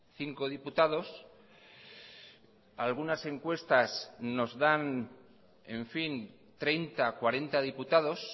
cinco diputados algunas encuestas nos dan en fin treinta cuarenta diputados